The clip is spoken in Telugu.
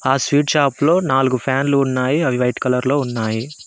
ఆ స్వీట్ షాప్ లో నాలుగు ఫ్యాన్ లు ఉన్నాయి అవి వైట్ కలర్ లో ఉన్నాయి.